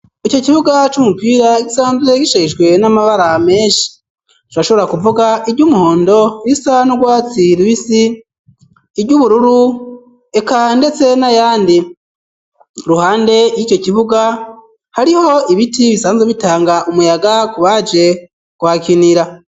ico kibuga c'umupira gisanzwe gisheshwe n'amabara menshi , turashobora kuvuga iry'umuhondo, irisa n'urwatsi rubisi, iry'ubururu eka ndetse n'ayandi , iruhande y'ico kibuga hariho ibiti bisanze bitanga umuyaga ku baje kuhakinira.